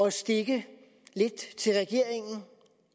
at stikke lidt til regeringen